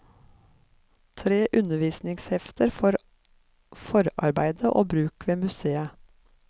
Tre undervisningshefter for forarbeid og bruk ved museet.